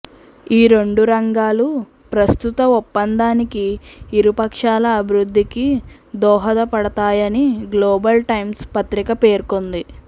ఈ రెండు రంగాలు ప్రస్తుత ఒప్పందానికి ఇరు పక్షాల అభివృద్ధికి దోహదపడ తాయని గ్లోబల్ టైమ్స్ పత్రిక పేర్కొంది